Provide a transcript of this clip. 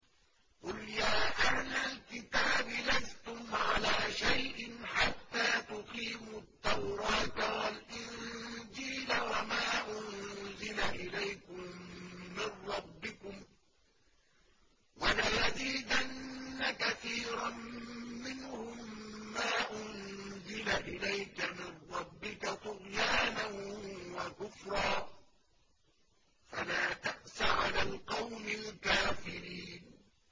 قُلْ يَا أَهْلَ الْكِتَابِ لَسْتُمْ عَلَىٰ شَيْءٍ حَتَّىٰ تُقِيمُوا التَّوْرَاةَ وَالْإِنجِيلَ وَمَا أُنزِلَ إِلَيْكُم مِّن رَّبِّكُمْ ۗ وَلَيَزِيدَنَّ كَثِيرًا مِّنْهُم مَّا أُنزِلَ إِلَيْكَ مِن رَّبِّكَ طُغْيَانًا وَكُفْرًا ۖ فَلَا تَأْسَ عَلَى الْقَوْمِ الْكَافِرِينَ